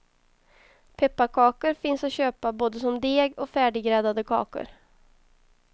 Pepparkakor finns att köpa både som deg och färdiggräddade kakor.